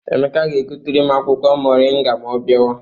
Emeka ga-egotere m akwụkwọ moringa ma ọ bịawa.